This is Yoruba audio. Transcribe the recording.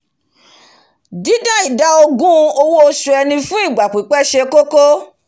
dídá ìdá ogún owó osù ẹni fún ìgbà pípẹ́ se kókó